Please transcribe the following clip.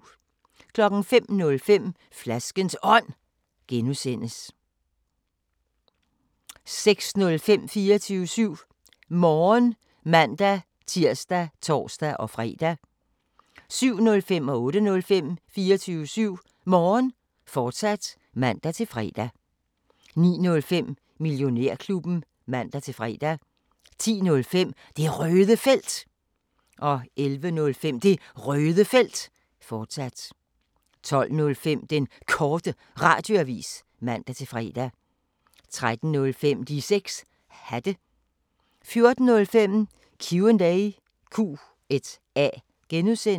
05:05: Flaskens Ånd (G) 06:05: 24syv Morgen (man-tir og tor-fre) 07:05: 24syv Morgen, fortsat (man-fre) 08:05: 24syv Morgen, fortsat (man-fre) 09:05: Millionærklubben (man-fre) 10:05: Det Røde Felt 11:05: Det Røde Felt, fortsat 12:05: Den Korte Radioavis (man-fre) 13:05: De 6 Hatte 14:05: Q&A (G)